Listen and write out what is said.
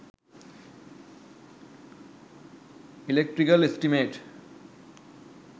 electrical estimate